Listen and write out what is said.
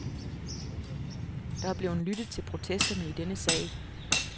Der er blevet lyttet til protesterne i denne sag.